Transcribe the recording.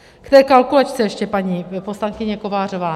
K té kalkulačce ještě, paní poslankyně Kovářová.